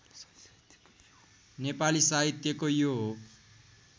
नेपाली साहित्यको यो